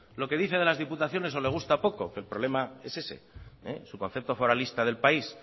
lo que dice de las diputaciones o le gusta poco que el problema es ese su concepto foralista del país